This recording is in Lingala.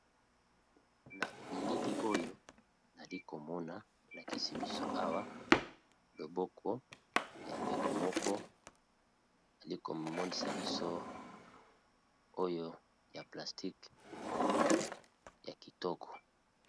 Na bilili oyo nali komona elakisi biso awa loboko ya ndeko moko ali komonisa biso oyo ya plastike ya kitoko